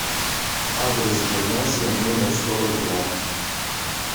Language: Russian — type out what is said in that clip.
адрес гимназия номер сорок два